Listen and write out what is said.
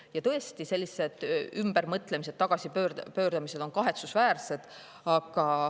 Ja tõesti, sellised ümbermõtlemised ja tagasipööramised on kahetsusväärsed.